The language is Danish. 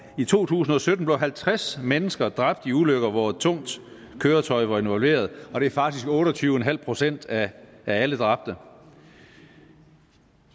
i to tusind og sytten blev halvtreds mennesker dræbt i ulykker hvor et tungt køretøj var involveret og det er faktisk otte og tyve procent af alle dræbte